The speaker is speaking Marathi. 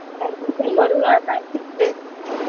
ऍडमिशन करूया.